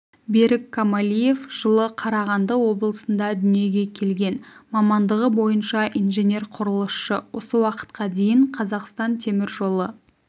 берік камалиев жылы қарағанды облысында дүниеге келген мамандығы бойынша инженер-құрылысшы осы уақытқа дейін қазақстан темір жолы